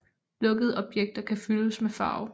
Lukkede objekter kan fyldes med farve